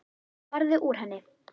Farðu úr henni.